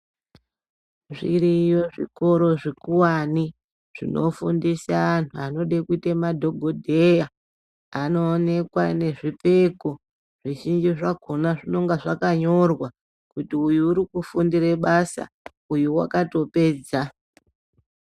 Zviriyo zvikoro zvikuvani zvinofundisa antu anode kute madhogodheya anoonekwe nezvipfeko. Zvizhinji zvakona zvinonga zvakanyorwa kuti uyu urikufundire basa uyo vakatopedza.